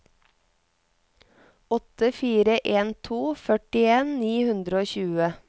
åtte fire en to førtien ni hundre og tjue